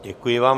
Děkuji vám.